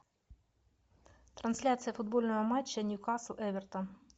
трансляция футбольного матча ньюкасл эвертон